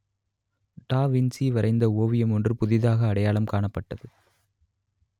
டா வின்சி வரைந்த ஓவியம் ஒன்று புதிதாக அடையாளம் காணப்பட்டது